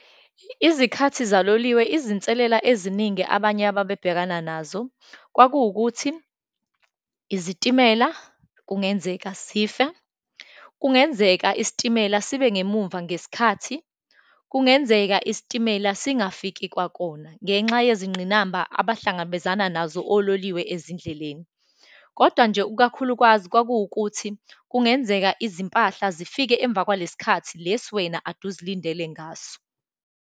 Izikhathi zaloliwe, izinselela eziningi abanye ababebhekana nazo, kwakuwukuthi, izitimela kungenzeka sife, kungenzeka isitimela sibe ngemumva ngesikhathi, kungenzeka isitimela singafiki kwakona, ngenxa yizingqinamba abahlangabezana nazo ololiwe ezindleleni. Kodwa nje, ikakhulukazi kwakuwukuthi kungenzeka izimpahla zifike emva kwalesikhathi lesi wena ade uzilindele ngaso.